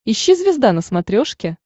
ищи звезда на смотрешке